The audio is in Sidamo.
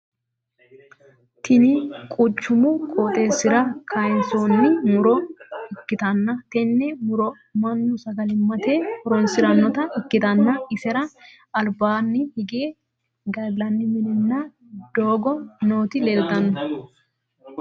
Tinni quchumu qooxeesira kayinsoonni muro ikitanna tenne muro mannu sagalimate horoonsiranota ikitanna isera albaanni hige galanni minnanna doogo nooti leeltano.